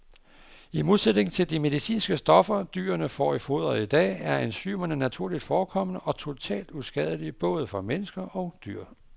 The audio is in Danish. I modsætning til de medicinske stoffer, dyrene får i foderet i dag, er enzymerne naturligt forekommende og totalt uskadelige både for mennesker og dyr.